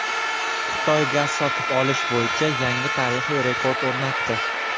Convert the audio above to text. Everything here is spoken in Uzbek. Xitoy gaz sotib olish bo‘yicha yangi tarixiy rekord o‘rnatdi.